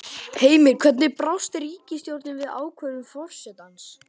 Heimir, hvernig brást ríkisstjórnin við ákvörðun forsetans?